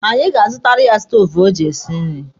Anyị ga-azụtara ya stoovu o ji esi nri.